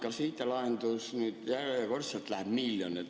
Kas IT‑lahendusele nüüd järjekordselt läheb miljon?